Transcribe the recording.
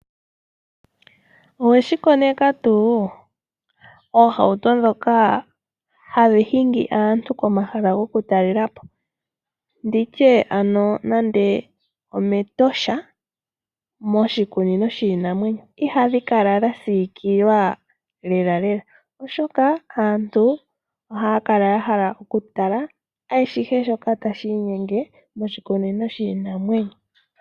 Oweshi koneka tuu? Oohauto ndhoka hadhi hingi aantu komahala goku talela po. Nditye ando nande ometosha, moshikunino shiinamwenyo, ihadhi kala dha siikilwa lelalela oshoka aantu ohaya kala ya hala oku tala ashihe shoka tashi inyenge moshikunino shiinamwenyo.